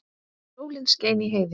Sól skein í heiði.